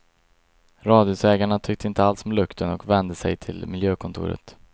Radhusägarna tyckte inte alls om lukten och vände sig till miljökontoret.